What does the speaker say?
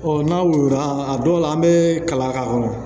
n'a woyola a dɔw la an bɛ kalan k'a kɔrɔ